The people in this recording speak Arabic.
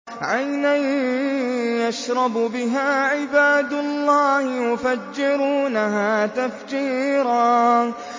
عَيْنًا يَشْرَبُ بِهَا عِبَادُ اللَّهِ يُفَجِّرُونَهَا تَفْجِيرًا